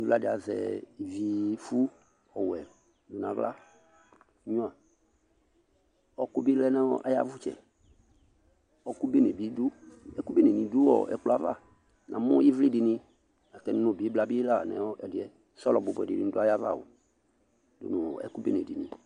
Ɩvla dɩ azɛ ivifʋ ɔwɛ nʋ aɣla nyuǝ Ɔɣɔkʋ bɩ lɛ nʋ ayʋ avʋtsɛ Ɔɣɔkʋ bene bɩ dʋ, ɛkʋ benenɩ bɩ dʋ ɔɔ ɛkplɔ yɛ ava Namʋ ɩvlɩ dɩnɩ, natɛnʋ nʋ bɩbla bɩ la nʋ ɛdɩ yɛ, sɔlɔ bʋbʋɛnɩ dʋ ayava o dʋ ɛkʋ bene dɩnɩ